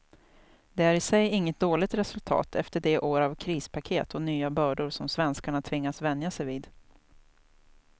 Det är i sig inget dåligt resultat efter de år av krispaket och nya bördor som svenskarna tvingats vänja sig vid.